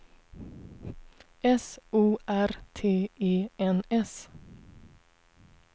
S O R T E N S